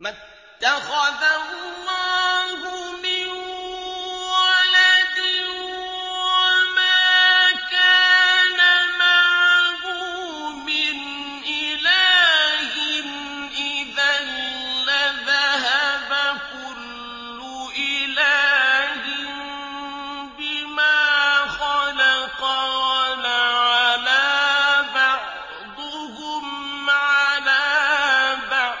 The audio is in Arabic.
مَا اتَّخَذَ اللَّهُ مِن وَلَدٍ وَمَا كَانَ مَعَهُ مِنْ إِلَٰهٍ ۚ إِذًا لَّذَهَبَ كُلُّ إِلَٰهٍ بِمَا خَلَقَ وَلَعَلَا بَعْضُهُمْ عَلَىٰ بَعْضٍ ۚ